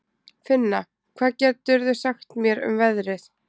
Finna, hvað geturðu sagt mér um veðrið?